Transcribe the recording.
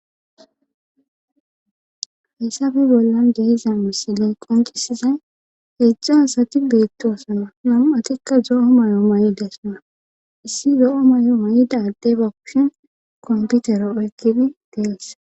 hayssabe bollan geeza misiley qonqisizay heedzdzo asati beetto asana nam7atikka zo7o may7o may7idesona issi zo7o may7o may7ida addeba kushin komputero oykkidi dees